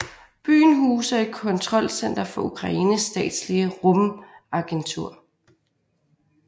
Byen huser et kontrolcenter for Ukraines statslige rumagentur